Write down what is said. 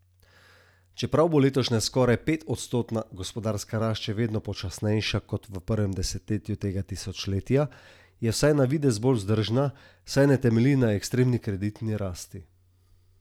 Čeprav bo letošnja skoraj petodstotna gospodarska rast še vedno počasnejša kot v prvem desetletju tega tisočletja, je vsaj na videz bolj vzdržna, saj ne temelji na ekstremni kreditni rasti.